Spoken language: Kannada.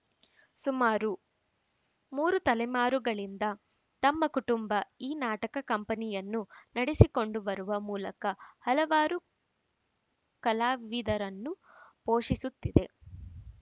ಸುಮಾರು ಮೂರು ತಲೆಮಾರುಗಳಿಂದ ತಮ್ಮ ಕುಟುಂಬ ಈ ನಾಟಕ ಕಂಪನಿಯನ್ನು ನಡೆಸಿಕೊಂಡು ಬರುವ ಮೂಲಕ ಹಲವಾರು ಕಲಾವಿದರನ್ನು ಪೋಷಿಸುತ್ತಿದೆ